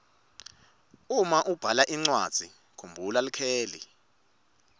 uma ubhala incwadzi kumbhula likheli